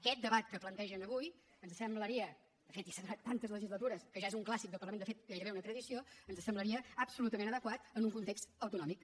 aquest debat que plantegen avui ens semblaria de fet ja s’ha donat tantes legislatures que ja és un clàssic del parlament de fet gairebé una tradició absolutament adequat en un context autonòmic